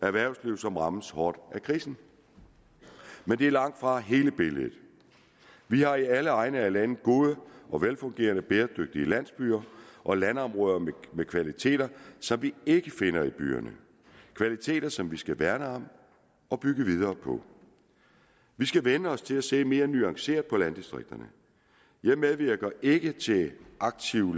erhvervslivet rammes hårdt af krisen men det er langtfra hele billedet vi har i alle egne af landet gode og velfungerende bæredygtige landsbyer og landområder med kvaliteter som vi ikke finder i byerne kvaliteter som vi skal værne om og bygge videre på vi skal vænne os til at se mere nuanceret på landdistrikterne jeg medvirker ikke til aktiv